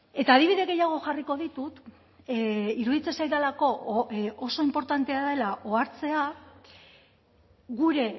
eta adibide gehiago jarriko ditut iruditzen zaidalako oso inportantea dela ohartzea gure